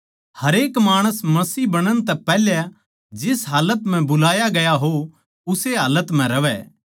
हरेक माणस मसीह बणण तै पैहले जिस हालत म्ह बुलाया गया हो उस्से हालत म्ह रहवै